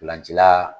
Ntolancila